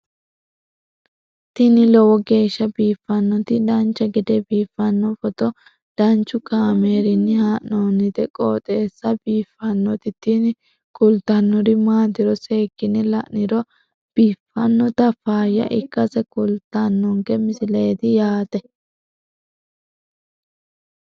tini lowo geeshsha biiffannoti dancha gede biiffanno footo danchu kaameerinni haa'noonniti qooxeessa biiffannoti tini kultannori maatiro seekkine la'niro biiffannota faayya ikkase kultannoke misileeti yaate